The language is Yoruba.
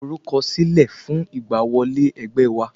Lọ forúkọ sílẹ̀ fún ìgbà wọlé ẹgbẹ́ wa